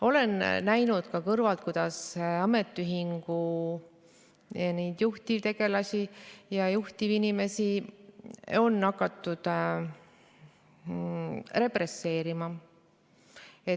Olen kõrvalt näinud, kuidas ametiühingu juhtivtegelasi on hakatud represseerima.